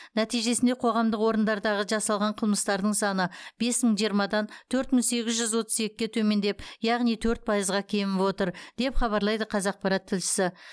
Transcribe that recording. нәтижесінде қоғамдық орындардағы жасалған қылмыстардың саны бес мың жиырмадан төрт мың сегіз жүз отыз екіге төмендеп яғни төрт пайызға кеміп отыр деп хабарлайды қазақпарат тілшісі